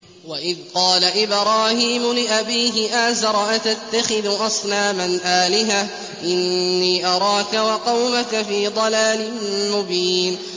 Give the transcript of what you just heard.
۞ وَإِذْ قَالَ إِبْرَاهِيمُ لِأَبِيهِ آزَرَ أَتَتَّخِذُ أَصْنَامًا آلِهَةً ۖ إِنِّي أَرَاكَ وَقَوْمَكَ فِي ضَلَالٍ مُّبِينٍ